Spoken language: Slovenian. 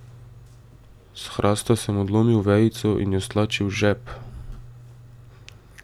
S hrasta sem odlomil vejico in jo stlačil v žep.